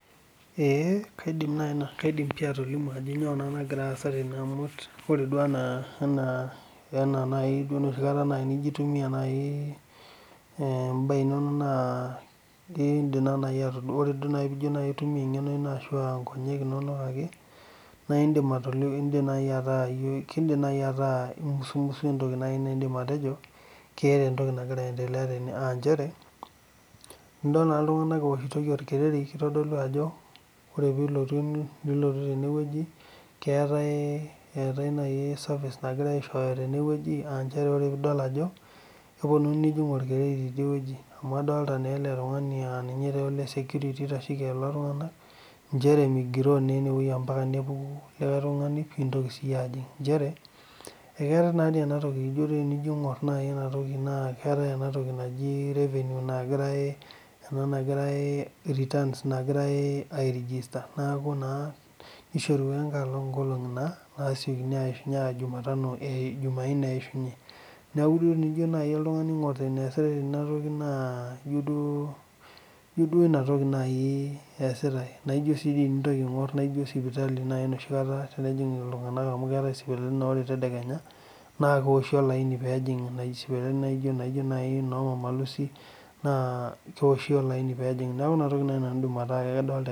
Ee kaidim nai atolimu pii ajo kanyio nagira aasa tene na ore nai peaku embae inonok nai indim nai tenijo aitumia enkongu ino na indim naai ataa imusumusu entoki naidim atejo keeta entoki nagira aendelea tene aanchere idol na ltunganak eoshitoi orekeri keetae service na indim atadua ajo keponui neoshi orkereri amu adolita na eletungani aa ninye ole security oitasheki ltunganak aanchere ninye oitashieki migiroo na inewueji omeeu likae tunganu amu tinino aingor na keetae enatoki naji revenue, returns nagirai airegister neaku naa kishorua serkali nkolongi matejo jumaaine eishunye neaku tenijo aingor eneasitae tenewueji na tenintoki aingor ijo sipitali amu keetae sipitalini na tenintoki aingor naore tedekenya keoshi olaini pejing neaku inatoki nanu naidim ataa kadolita